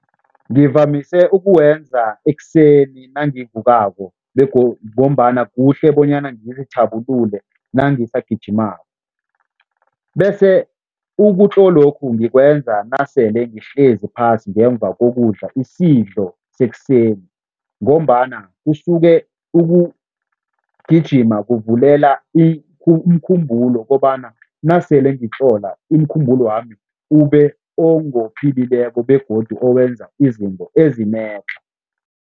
Ngivamise ukuwenza ekuseni nangivukako ngombana kuhle bonyana ngizithabulule nangisagijimako bese ukutlolokhu ngikwenza nasele ngihlezi phasi ngemva kokudla isidlo sekuseni ngombana kusuke, ukugijima kuvulela umkhumbulo kobana nasele ngitlola, umkhumbulwami ube ongophilileko begodu owenza izinto ezinetlha.